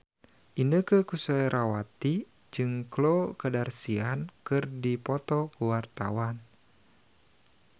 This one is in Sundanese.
Inneke Koesherawati jeung Khloe Kardashian keur dipoto ku wartawan